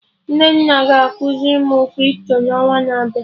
Nnenna ga ekuzi mụ Crypto n'ọnwa na-abịa